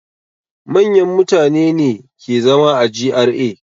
Manyan mutane ne ke zama a GRA.